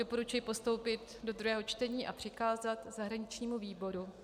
Doporučuji postoupit do druhého čtení a přikázat zahraničnímu výboru.